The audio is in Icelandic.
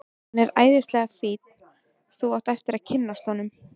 Hann er æðislega fínn. þú átt eftir að kynnast honum.